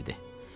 Kişi dedi.